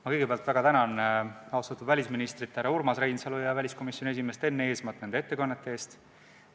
Ma kõigepealt väga tänan austatud välisministrit härra Urmas Reinsalu ja väliskomisjoni esimeest Enn Eesmaad nende ettekannete eest!